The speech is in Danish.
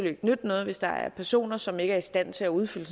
ikke nytte noget hvis der er personer som ikke er i stand til at udfylde